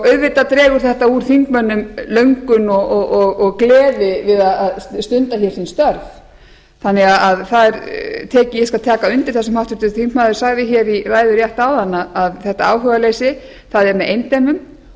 auðvitað dregur þetta úr þingmönnum löngum og gleði við að stunda hér sín störf þannig að ég skal taka undir það sem háttvirtur þingmaður sagði í ræðu rétt áðan að þetta áhugaleysi er með eindæmum